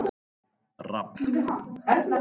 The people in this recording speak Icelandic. Rafn